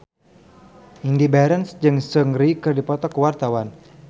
Indy Barens jeung Seungri keur dipoto ku wartawan